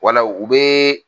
Wala u bɛ